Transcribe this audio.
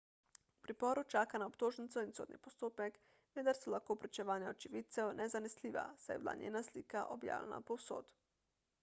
v priporu čaka na obtožnico in sodni postopek vendar so lahko pričevanja očividcev nezanesljiva saj je bila njena slika objavljena povsod